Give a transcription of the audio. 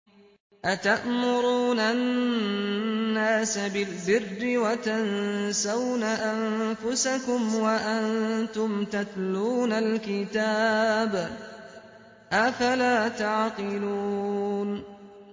۞ أَتَأْمُرُونَ النَّاسَ بِالْبِرِّ وَتَنسَوْنَ أَنفُسَكُمْ وَأَنتُمْ تَتْلُونَ الْكِتَابَ ۚ أَفَلَا تَعْقِلُونَ